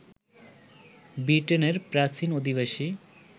ব্রিটেনের প্রাচীন অধিবাসী